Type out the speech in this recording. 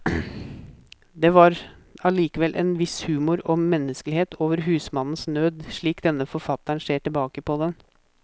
Det var allikevel en viss humor og menneskelighet over husmannens nød, slik denne forfatteren ser tilbake på den.